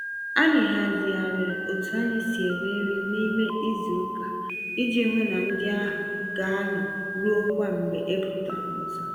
Anyị hazigharịrị otú anyị si eri nri n'ime izuka, iji hụ na ndi áhù gaanọ ruokwa mgbe ebutara ọzọ.